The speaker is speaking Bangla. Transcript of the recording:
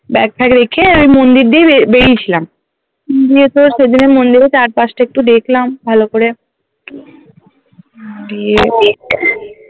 Bag ফ্যাগ রেখে আমি মন্দিরের দিকেই বে~বেরিয়েছিলাম গিয়ে তোর সেদিন মন্দিরের চারপাশটা একটু দেখলাম ভালো করে দিয়ে